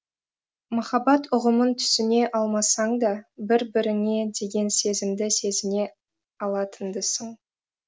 махаббат ұғымын түсіне алмасаңда бір біріңе деген сезімді сезіне алатындысың